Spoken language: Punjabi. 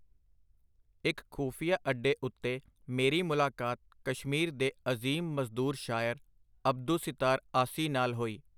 ਇਕ ਖੁਫੀਆ ਅੱਡੇ ਉਤੇ ਮੇਰੀ ਮੁਲਾਕਾਤ ਕਸ਼ਮੀਰ ਦੇ ਅਜ਼ੀਮ ਮਜ਼ਦੂਰ ਸ਼ਾਇਰ, ਅਬਦੁੱਸਿਤਾਰ ਆਸੀ ਨਾਲ ਹੋਈ.